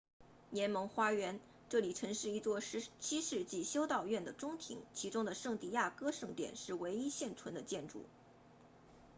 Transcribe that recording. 联盟花园 jardín de la unión 这里曾是一座17世纪修道院的中庭其中的圣地亚哥圣殿是唯一现存的建筑